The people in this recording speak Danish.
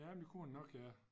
Jamen det kunne han nok ja